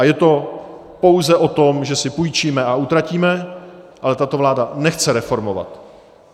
A je to pouze o tom, že si půjčíme a utratíme, ale tato vláda nechce reformovat.